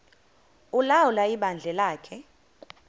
ulawula ibandla lakhe